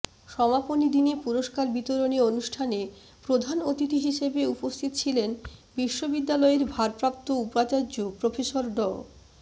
সমাপনী দিনে পুরস্কার বিতরণী অনুষ্ঠানে প্রধান অতিথি হিসেবে উপস্থিত ছিলেন বিশ্ববিদ্যালয়ের ভারপ্রাপ্ত উপাচার্য প্রফেসর ড